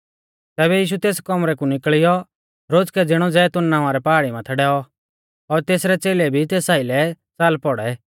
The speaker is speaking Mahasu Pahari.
तैबै यीशु तेस कौमरै कु निकल़ियौ रोज़कै ज़िणौ जैतून नावां री पहाड़ी माथै डैऔ और तेसरै च़ेलै भी तेस आइलै च़ाल पौड़ै